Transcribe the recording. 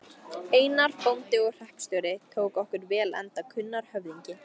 Einar, bóndi og hreppstjóri, tók okkur vel enda kunnur höfðingi.